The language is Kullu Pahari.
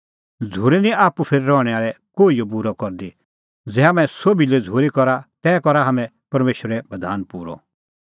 झ़ूरी निं आप्पू फेर रहणैं आल़ै कोहिओ बूरअ करदी ज़ै हाम्हैं सोभी लै झ़ूरी करा तै करा हाम्हैं परमेशरे बधाना पूरअ